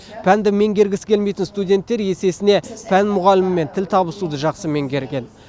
пәнді меңгергісі келмейтін студенттер есесіне пән мұғалімімен тіл табысуды жақсы меңгерген